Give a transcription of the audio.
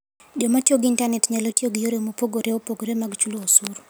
Joma tiyo gi intanet nyalo tiyo gi yore mopogore opogore mag chulo osuru.